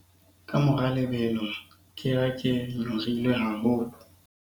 ka mora lebelo ke ha ke nyorilwe haholo